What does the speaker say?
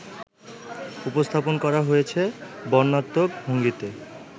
উপস্থাপন করা হয়েছে বর্ণনাত্মক ভঙ্গিতে